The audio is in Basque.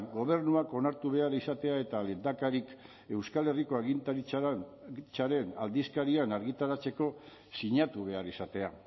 gobernuak onartu behar izatea eta lehendakariak euskal herriko agintaritzaren aldizkarian argitaratzeko sinatu behar izatea